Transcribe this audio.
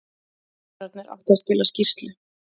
Dómararnir áttu að skila skýrslu